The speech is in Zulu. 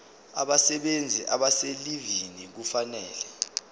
abasebenzi abaselivini kufanele